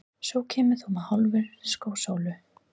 Svo kemur þú með Hálfa skósóla.